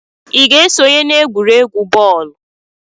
ị ga-esonye n'egwuregwu bọọlụ?